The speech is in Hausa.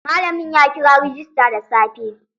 Malamin ya kira rejista da safe.